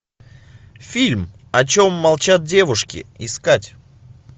фильм о чем молчат девушки искать